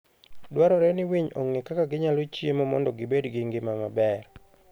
Dwarore ni winy ong'e kaka ginyalo chiemo mondo gibed gi ngima maber.